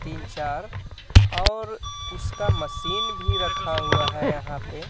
तीन चार और उसका मशीन भी रखा हुआ है यहां पे.